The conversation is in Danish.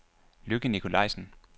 Lykke Nikolajsen